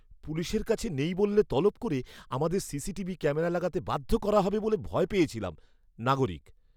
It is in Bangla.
পুলিশের কাছে নেই বললে তলব করে আমাদের সিসিটিভি ক্যামেরা লাগাতে বাধ্য করা হবে বলে ভয় পেয়েছিলাম। নাগরিক